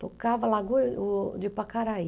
Tocava Lagoa de Pacaraí.